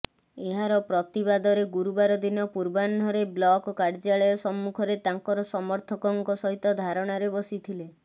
ଏହାର ପ୍ରତିବାଦରେ ଗୁରୁବାର ଦିନ ପୂର୍ବାହ୍ନ ରେ ବ୍ଲକ କାର୍ୟ୍ୟାଳୟ ସମ୍ମୁଖରେ ତାଙ୍କର ସମର୍ଥକଙ୍କ ସହିତ ଧାରଣାରେ ବସିଥିଲେ